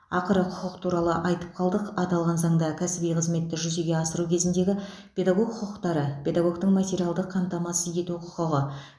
ақыры құқық туралы айтып қалдық аталған заңда кәсіби қызметті жүзеге асыру кезіндегі педагог құқықтары педагогтің материалдық қамтамасыз ету құқығы